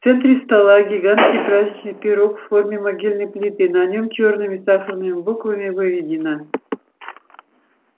в центре стола гигантский праздничный пирог в форме могильной плиты на нем чёрными сахарными буквами выведено